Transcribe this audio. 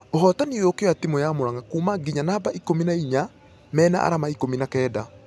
Ũhotani ũyũ ũkĩoya timũ ya muranga kuuma ....nginya namba ikũmi na inya mena arama ikũmi na kenda.